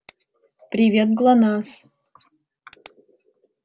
привет глонассс